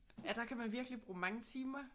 Ja der kan man virkelig bruge mange timer